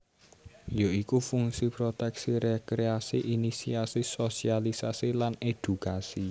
Ya iku fungsi proteksi rekreasi inisiasi sosialisasi lan edukasi